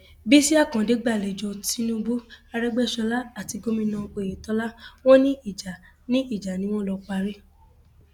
bísí àkàdé gbàlejò tinubu arègbèsọlá àti gomina oyetola wọn ní ìjà ni ìjà ni wọn lọọ parí